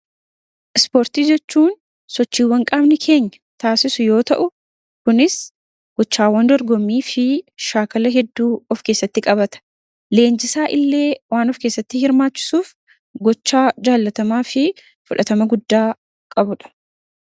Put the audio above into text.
Ispoortii jechuun sochiiwwan qaamni keenya taasisu yoo ta'u kunis gochaawwan dorgomii fi shaakala hedduu of keessatti qabata. Leenjisaa illee waan of keessatti hirmaachisuuf gochaa jaalatamaa fi fudhatama guddaa qabuudha.